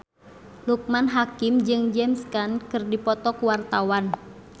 Loekman Hakim jeung James Caan keur dipoto ku wartawan